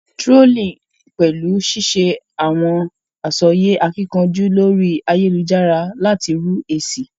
Trolling pẹlu ṣiṣe awọn asọye akíkanjú lórí ayélujára láti rú esi